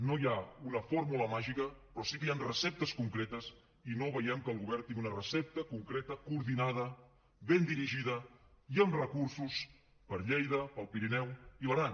no hi ha una fórmula màgica però sí que hi han receptes concretes i no veiem que el govern tingui una recepta concreta coordinada ben dirigida i amb recursos per a lleida per al pirineu i l’aran